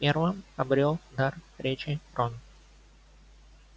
первым обрёл дар речи рон